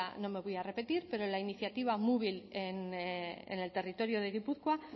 no me voy a repetir pero la iniciativa mubil en el territorio de gipuzkoa